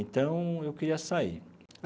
Então, eu queria sair.